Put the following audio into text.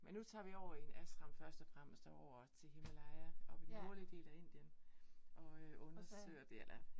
Men nu tager vi over i en Ashram først og fremmest, og over til Himalaya oppe i den nordlige del af Indien, og øh undersøger dér eller